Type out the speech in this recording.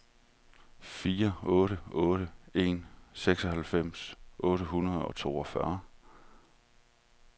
fire otte otte en seksoghalvfems otte hundrede og toogfyrre